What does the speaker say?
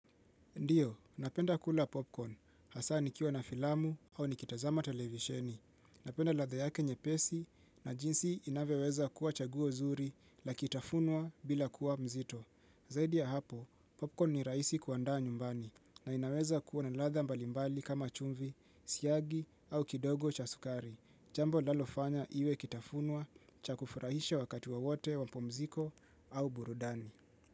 Ndio, napenda kula popcorn. Hasa nikiwa na filamu au nikitazama televisheni. Napenda ladha yake nyepesi na jinsi inavyoweza kuwa chaguo nzuri Ikitafunwa bila kuwa mzito. Zaidi ya hapo, popcorn ni rahisi kuandaa nyumbani na inaweza kuwa na ladha mbalimbali kama chumvi, siyagi au kidogo cha sukari. Jambo linalofanya iwe ikitafunwa cha kufurahisha wakati wowote wa pumziko au burudani.